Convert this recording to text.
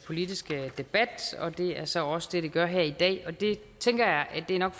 politiske debat og det er så også det det gør her i dag jeg tænker at det nok